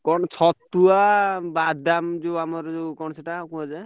କଣ ଛତୁଆ, ବାଦାମ, ଆମର ଯୋଉ କଣ ସେଇଟା କୋଉ ବାଦାମ?